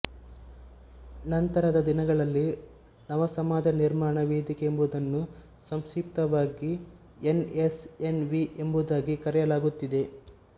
ನಂತರದ ದಿನಗಳಲ್ಲಿ ನವಸಮಾಜ ನಿರ್ಮಾಣ ವೇದಿಕೆ ಎಂಬುದನ್ನು ಸಂಕ್ಷಿಪ್ತವಾಗಿ ಎನ್ ಎಸ್ ಎನ್ ವಿ ಎಂಬುದಾಗಿ ಕರೆಯಲಾಗುತ್ತಿದೆ